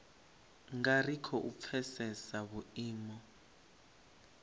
nga ri khou pfesesa vhuimo